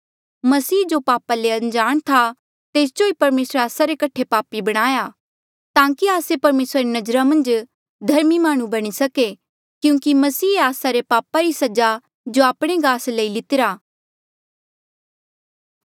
मसीह जो पापा ले अनजाण था तेस जो ही परमेसरे आस्सा रे कठे पापी बणाया ताकि आस्से परमेसरा री नजरा मन्झ धर्मी माह्णुं बणी जाये क्यूंकि मसीहे आस्सा रे पापा री सजा जो आपणे गास लेई लितिरा